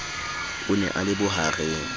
o ne a le bohareng